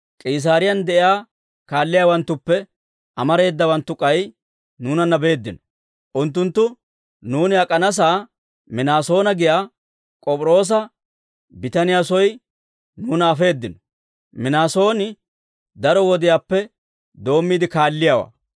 K'iisaariyaan de'iyaa kaalliyaawanttuppe amareedawanttu k'ay nuunanna beeddino; unttunttu nuuni ak'anasaa Minaasoona giyaa K'op'iroosa bitaniyaa soy nuuna afeeddino; Minaasooni daro wodiyaappe doommiide kaalliyaawaa.